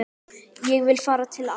Ég vil fara til afa